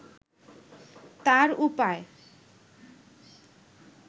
তার উপায়